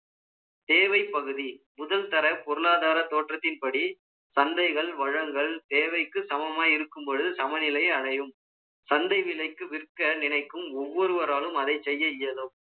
தேவைப்பகுதி, முதல்தர பொருளாதார தோற்றத்தின்படி, சந்தைகள், வளங்கள், தேவைக்கு சமமாய் இருக்கும் பொழுது, சமநிலை அடையும். சந்த விலைக்கு, விற்க நினைக்கும், ஒவ்வொருவராலும், அதை செய்ய இயலும்.